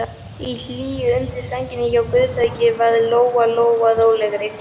Í hlýjunni undir sænginni hjá Guðbergi varð Lóa Lóa rólegri.